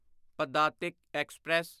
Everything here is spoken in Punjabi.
ਪਦਾਤਿਕ ਐਕਸਪ੍ਰੈਸ